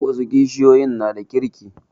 Wasu kishiyoyin na da kirki